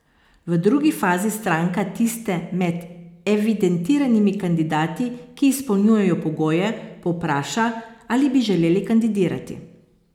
V drugi fazi stranka tiste med evidentiranimi kandidati, ki izpolnjujejo pogoje, povpraša, ali bi želeli kandidirati.